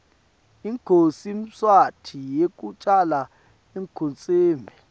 inkhosi mswati yekucala ikhotseme